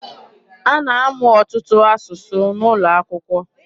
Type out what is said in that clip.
A na-amụ ọtụtụ asụsụ N'ụlọakwụkwọ.